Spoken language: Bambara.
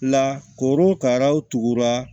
La korokaraw tugura